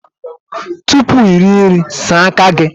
Tupu ị rie nri, saa aka gị!